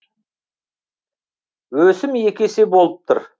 өсім екі есе болып тұр